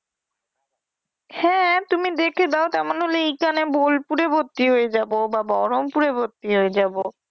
হ্যা তুমি দেখে দাও তারমানে হলো ভোলপুরে পুরে ভর্তি হয়ে যাবো বা বহরমপুরে ভর্তি হয়ে যাবো।